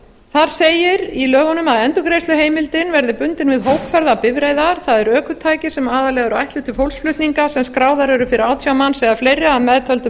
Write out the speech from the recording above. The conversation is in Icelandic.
þar segir í lögunum að endurgreiðsluheimildin verði bundin við hópferðabifreiðar það er ökutæki sem aðallega eru ætluð til fólksflutninga sem skráðar eru fyrir átján manns eða fleiri að meðtöldum